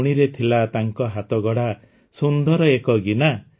ମୁଣିରେ ଥିଲା ତାଙ୍କ ହାତଗଢ଼ା ସୁନ୍ଦର ଏକ ଗିନା